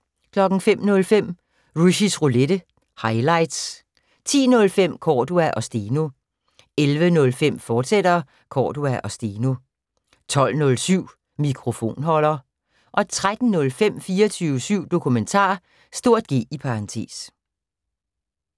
05:05: Rushys Roulette – highlights 10:05: Cordua & Steno 11:05: Cordua & Steno, fortsat 12:07: Mikrofonholder 13:05: 24syv Dokumentar (G)